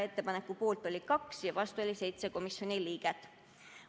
Ettepaneku poolt olid 2 ja vastu olid 7 komisjoni liiget.